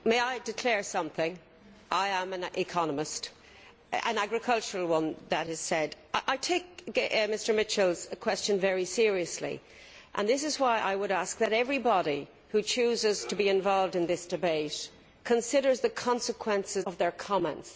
Mr President, may I declare something. I am an economist, an agricultural one that is. I take Mr Mitchell's question very seriously and this is why I would ask that everybody who chooses to be involved in this debate considers the consequences of their comments.